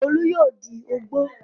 Olú yóò di ògbó.